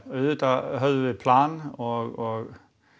auðvitað höfðum við plan og